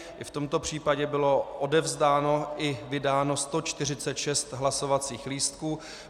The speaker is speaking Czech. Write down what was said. I v tomto případě bylo odevzdáno i vydáno 146 hlasovacích lístků.